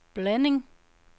blanding